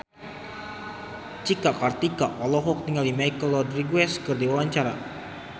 Cika Kartika olohok ningali Michelle Rodriguez keur diwawancara